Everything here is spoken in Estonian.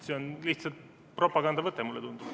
See on lihtsalt propagandavõte, mulle tundub.